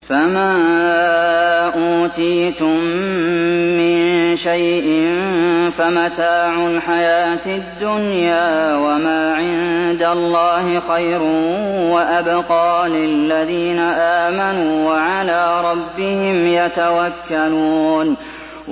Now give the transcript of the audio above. فَمَا أُوتِيتُم مِّن شَيْءٍ فَمَتَاعُ الْحَيَاةِ الدُّنْيَا ۖ وَمَا عِندَ اللَّهِ خَيْرٌ وَأَبْقَىٰ لِلَّذِينَ آمَنُوا وَعَلَىٰ رَبِّهِمْ يَتَوَكَّلُونَ